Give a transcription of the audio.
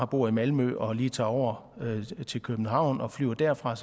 bor i malmø og lige tager over til københavn og flyver derfra